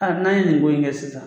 n'an ye nin ko in kɛ sisan.